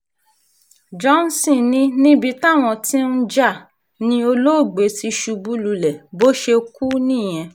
johnson ní níbi táwọn tí ń jà ní olóògbé ti ṣubú lulẹ̀ bó ṣe kú nìyẹn